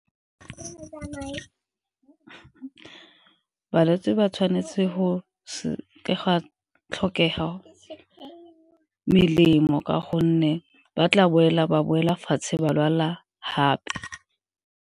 Balwetse ba tshwanetse go seka gwa tlhokega melemo ka gonne ba tla boela, ba boela fatshe ba lwala gape.